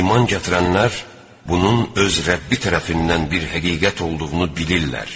İman gətirənlər bunun öz Rəbbi tərəfindən bir həqiqət olduğunu bilirlər.